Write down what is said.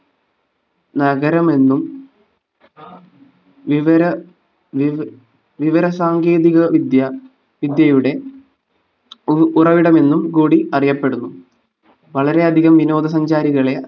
നഗരമെന്നും വിവര വിവ വിവരസാങ്കേതികവിദ്യ വിദ്യയുടെ ഉറവിടമെന്നും കൂടി അറിയപ്പെടുന്നു വളരെയധികം വിനോദ സഞ്ചാരികളെ